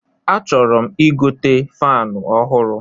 A chọrọ m igote fanu ọhụrụ